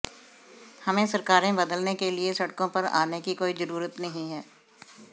हमें सरकारें बदलने के लिए सड़कों पर आने की कोई जरूरत नहीं है